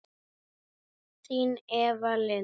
Þín Eva Lind.